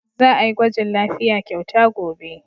Za a yi gwajin lafiya kyauta gobe.